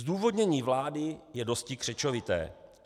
Zdůvodnění vlády je dosti křečovité.